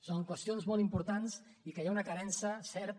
són qüestions molt importants en què hi ha una carència certa